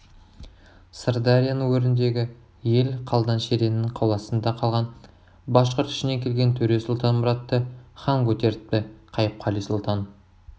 сырдарияның өріндегі ел қалдан шеріннің қоластында қалған башқұрт ішінен келген төре сұлтанмұратты хан көтеріпті қайыпқали сұлтан